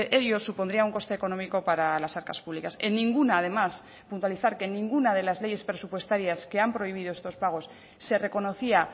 ello supondría un coste económico para las arcas públicas en ninguna además puntualizar que en ninguna de las leyes presupuestarias que han prohibido estos pagos se reconocía